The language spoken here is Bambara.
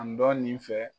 An dɔ nin fɛ